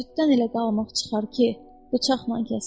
Süddən elə qalmaq çıxar ki, bıçaqla kəsərik.